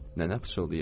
Nənə pıçıldayırdı.